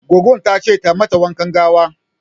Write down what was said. Goggon ta ce ta mata wanka gawa.